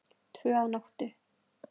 Tvö að nóttu